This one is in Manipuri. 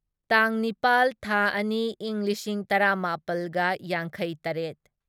ꯇꯥꯡ ꯅꯤꯄꯥꯜ ꯊꯥ ꯑꯅꯤ ꯢꯪ ꯂꯤꯁꯤꯡ ꯇꯔꯥꯃꯥꯄꯜꯒ ꯌꯥꯡꯈꯩꯇꯔꯦꯠ